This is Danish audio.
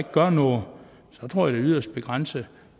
gør noget så tror jeg yderst begrænset